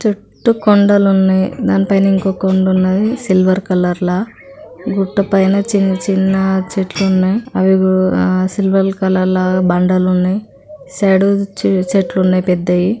చుట్టూ కొండలు ఉన్నాయి. దానిపైన ఇంకో కొండ ఉంది. సిల్వర్ కలర్ లో గుట్ట పైన చిన్న చిన్న చెట్లు ఉన్నాయి. అవి కూడా సిల్వర్ కలర్ రాగానే బండలు ఉన్నాయి. సైడ్ కు చెట్లు ఉన్నాయి పెద్దవి.